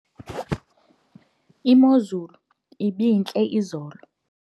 imozulu ibintle izolo